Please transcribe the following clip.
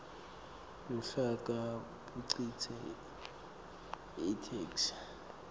luhlaka bukhicite itheksthi